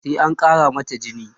sai an Kara mata jini